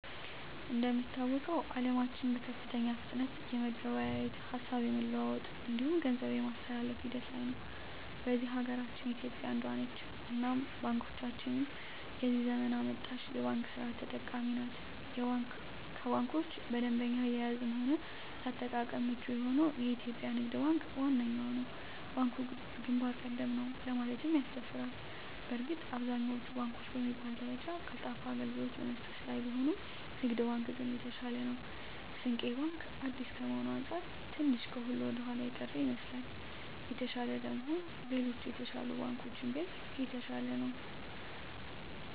እንደሚታወቀዉ አለማችን በከፍተኛ ፍጥነት የመገበያየት፣ ሀሳብ የመለዋወጥ እንዲሁም ገንዘብ የማስተላፍ ሂደት ላይ ነዉ። በዚህ ሀገራችን ኢትዮጵያ አንዷ ነት እናም ባንኮቻችንም የዚህ ዘመን አመጣሽ የባንክ ስርት ተጠቃሚ ናት ከባንኮች በደንበኛ አያያዝም ሆነ ለአጠቃቀም ምቹ የሆነዉ የኢትዮጵያ ንግድ ባንክ ዋነኛዉ ነዉ። ባንኩ ግንባር ቀደም ነዉ ለማለትም ያስደፍራል በእርግጥ አብዛኛወቹ ባንኮች በሚባል ደረጃ ቀልጣፋ አገልግሎት በመስጠት ላይ ቢሆኑም ንግድ ባንክ ግን የተሻለ ነዉ። ስንቄ ባንክ አዲስ ከመሆኑ አንፃር ትንሽ ከሁሉ ወደኋላ የቀረ ይመስላል። የተሻለ ለመሆን ሌሎች የተሻሉ ባንኮችን ቢያይ የተሻለ ነዉ።